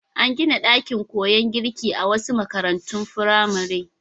Ana gina ɗakin koyon girki a wasu makarantun firamaren.